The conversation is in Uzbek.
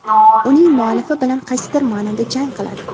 uning muallifi bilan qaysidir maʼnoda jang qiladi.